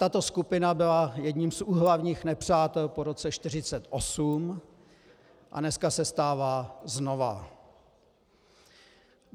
Tato skupina byla jedním z úhlavních nepřátel po roce 1948 a dneska se stává znova.